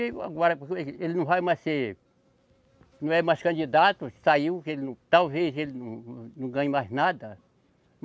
Ele não vai mais ser, não é mais candidato, saiu, que ele não, talvez ele não ganhe mais nada.